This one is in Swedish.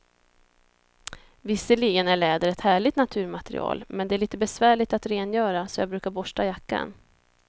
Visserligen är läder ett härligt naturmaterial, men det är lite besvärligt att rengöra, så jag brukar borsta jackan.